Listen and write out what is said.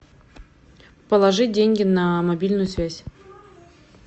положить деньги на мобильную связь